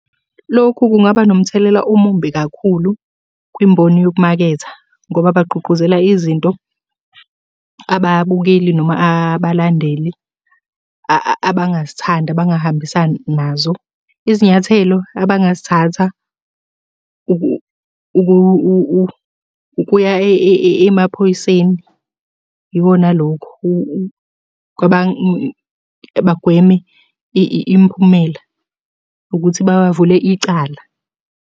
Lokhu kungaba nomthelela omumbi kakhulu kwimboni yokumaketha, ngoba bagqugquzela izinto ababukeli noma abalandeli abangazithandi, abangahambisani nazo. Izinyathelo abangazithatha, ukuya emaphoyiseni, ikona lokhu bagweme imiphumela ukuthi bavule icala.